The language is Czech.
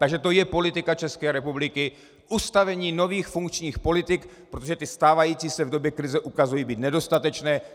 Takže to je politika České republiky - ustavení nových funkčních politik, protože ty stávající se v době krize ukazují být nedostatečné.